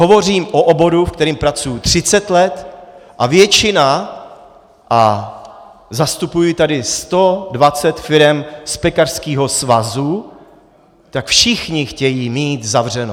Hovořím o oboru, ve kterém pracuji 30 let, a většina, a zastupuji tady 120 firem z pekařského svazu, tak všichni chtějí mít zavřeno.